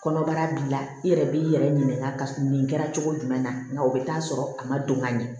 Kɔnɔbara b'i la i yɛrɛ b'i yɛrɛ ɲininka ka nin kɛ cogo jumɛn na nka o bɛ taa sɔrɔ a ma don ka ɲɛ